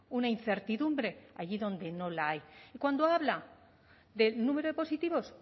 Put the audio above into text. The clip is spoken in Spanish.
una incertidumbre allí donde no la hay cuando habla del número de positivos